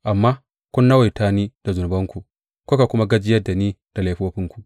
Amma kun nawaita ni da zunubanku kuka kuma gajiyar da ni da laifofinku.